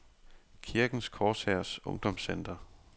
Kirkens Korshærs Ungdomscenter